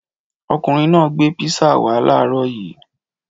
Ọkùnrin náà gbé písà wá láàárọ̀ yìí.